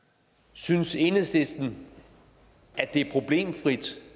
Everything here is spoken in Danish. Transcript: synes enhedslisten at det er problemfrit